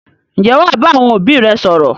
Ǹjẹ́ wà á bá àwọn òbí rẹ sọ̀rọ̀?